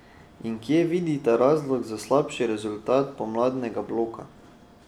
In kje vidita razlog za slabši rezultat pomladnega bloka?